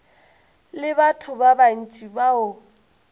le batho ba bantši bao